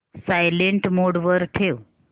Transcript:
silent mode वर ठेव